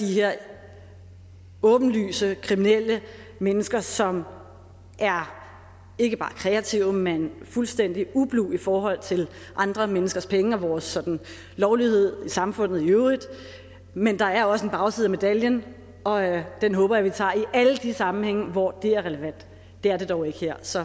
de her åbenlyst kriminelle mennesker som er ikke bare kreative men fuldstændig ublu i forhold til andre menneskers penge og vores sådan lovlighed i samfundet i øvrigt men der er også en bagside af medaljen og den håber jeg vi tager i alle de sammenhænge hvor det er relevant det er det dog ikke her så